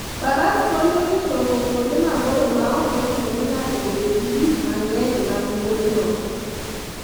Faras konyo e chopo kuonde maboyo maok ochuno ni ng'ato obed gi gik mang'eny mag wuodhno.